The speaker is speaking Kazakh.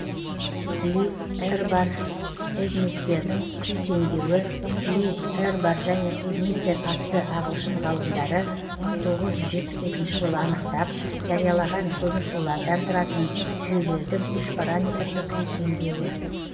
ли эрбар эдмистердің күй теңдеуі ли эрбар және эдмистер атты ағылшын ғалымдары мың тоғыз жүз жетпіс екінші жылы анықтап жариялаған көмірсулардан тұратын жүйелердің үшпараметрлі күй теңдеуі